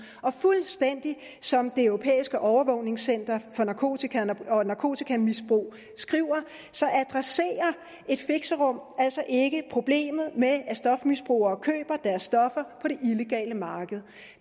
og fuldstændig som det europæiske overvågningscenter for narkotika og narkotikamisbrug skriver adresserer et fixerum altså ikke problemet med at stofmisbrugere køber deres stoffer på det illegale marked og